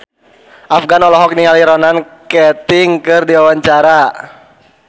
Afgan olohok ningali Ronan Keating keur diwawancara